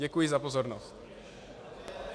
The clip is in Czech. Děkuji za pozornost.